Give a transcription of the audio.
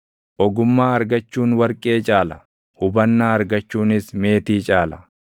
Ogummaa argachuun warqee caala; hubannaa argachuunis meetii caala!